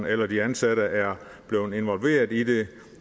eller de ansatte er blevet involveret i det